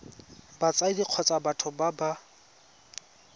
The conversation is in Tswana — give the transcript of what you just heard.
batsadi kgotsa batho ba ba